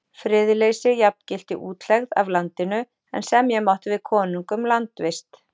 Friðleysi jafngilti útlegð af landinu, en semja mátti við konung um landvist.